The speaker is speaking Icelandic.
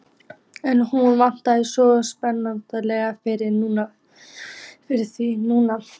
En hún vann svo sannarlega fyrir því núna.